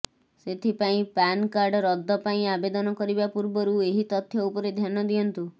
ସେଥିପାଇଁ PAN card ରଦ୍ଦ ପାଇଁ ଆବେଦନ କରିବା ପୂର୍ବରୁ ଏହି ତଥ୍ୟ ଉପରେ ଧ୍ୟାନ ଦିଅନ୍ତୁ